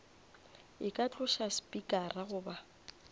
e ka tloša spikara goba